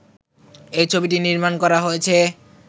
এই ছবিটি নির্মাণ করা হয়েছে